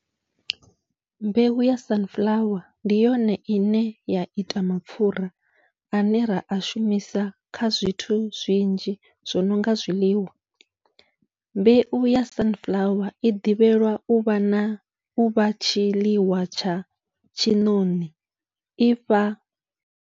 Mbeu ya sunflower ndi yone ine ya ita mapfhura ane ra a shumisa kha zwithu zwinzhi zwo nonga zwiḽiwa, mbeu ya sunflower i ḓivhelwa uvha na uvha tshiḽiwa tsha tshiṋoṋi ifha.